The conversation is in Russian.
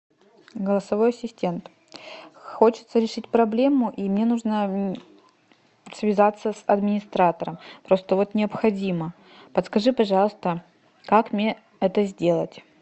голосовой ассистент хочется решить проблему и мне нужно связаться с администратором просто вот необходимо подскажи пожалуйста как мне это сделать